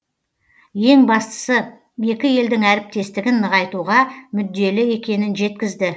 ең бастысы екі елдің әріптестігін нығайтуға мүдделі екенін жеткізді